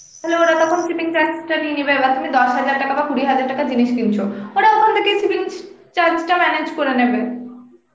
তাহলে ওরা তখন shipping charge টা নিয়ে নেবে বা তুমি দশ হাজার বা কুড়ি হাজার টাকার জিনিস কিনছো ওরা ওখান থেকেই shipping charge টা manage করে নেবে